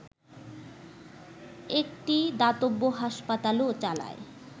একটি দাতব্য হাসপাতালও চালায়